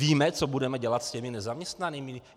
Víme, co budeme dělat s těmi nezaměstnanými?